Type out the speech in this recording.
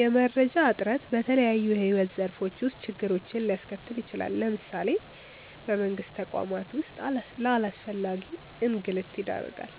የመረጃ እጥረት በተለያዩ የሕይወት ዘርፎች ውስጥ ችግሮችን ሊያስከትል ይችላል። ለምሳሌ በመንግስት ተቋማት ውስጥ ለአላስፈላጊ እንግልት ይዳርጋል።